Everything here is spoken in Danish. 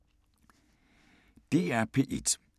DR P1